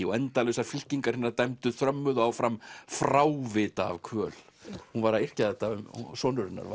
og endalausar fylkingar hinna dæmdu þrömmuðu áfram frávita af kvöl hún var að yrkja þetta sonur hennar